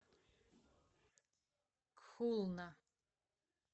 кхулна